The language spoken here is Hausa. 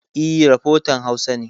E, rafotan Hausa ne.